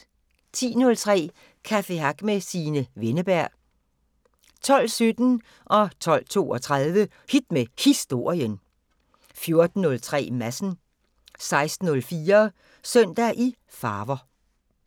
10:03: Café Hack med Signe Wenneberg 12:17: Hit med Historien 12:32: Hit med Historien 14:03: Madsen 16:04: Søndag i farver